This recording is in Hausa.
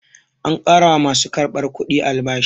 An ƙara wa ma su karɓar kudi albashi.